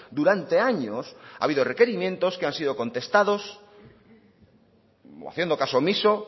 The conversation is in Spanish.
durante años ha habido requerimientos que han sido contestados o haciendo caso omiso